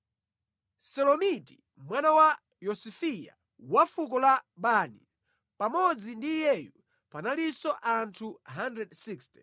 Selomiti mwana wa Yosifiya wa fuko la Bani. Pamodzi ndi iyeyu panalinso anthu 160.